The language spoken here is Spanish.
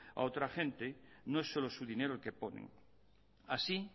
a otra gente no es solo su dinero el que ponen así